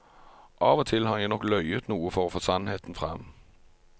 Av og til har jeg nok løyet noe for å få sannheten frem.